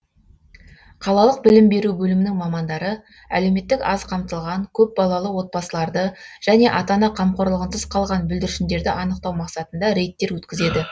қалалық білім беру бөлімінің мамандары әлеуметтік аз қамтылған көпбалалы отбасыларды және ата ана қамқорлығынсыз қалған бүлдіршіндерді анықтау мақсатында рейдтер өткізеді